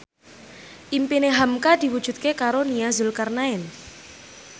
impine hamka diwujudke karo Nia Zulkarnaen